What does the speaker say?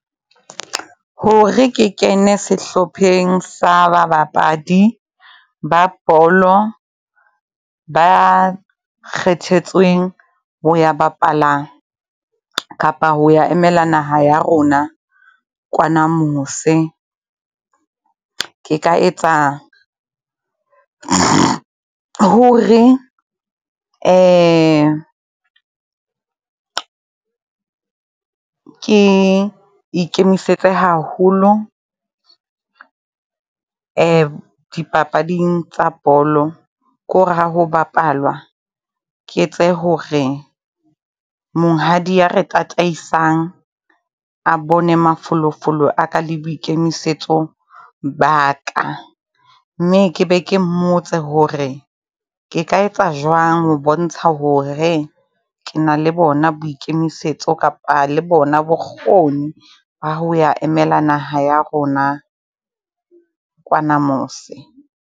Hore ke kene sehlopheng sa ba bapadi ba bolo ba kgethetsweng ho ya bapala kapa ho ya emela naha ya rona kwana mose. Ke ka etsa hore ke ikemisetse haholo dipapading tsa bolo, ke hore ha ho bapalwa. Ke etse hore monghadi ya re tataisang, a bone mafolofolo a ka le boikemisetso ba ka, mme ke be ke mmotse hore ke ka etsa jwang ho bontsha hore ke na le bona boikemisetso kapa le bona bokgoni. Ba ho ya emela naha ya rona kwana mose.